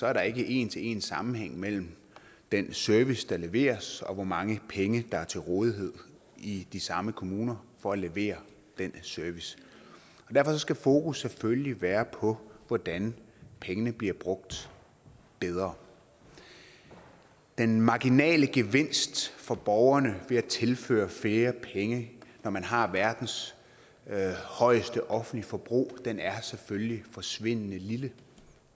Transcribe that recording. er der ikke en til en sammenhæng mellem den service der leveres og hvor mange penge der er til rådighed i de samme kommuner for at levere den service derfor skal fokus selvfølgelig være på hvordan pengene bliver brugt bedre den marginale gevinst for borgerne ved at tilføre flere penge når man har verdens højeste offentlige forbrug er selvfølgelig forsvindende lille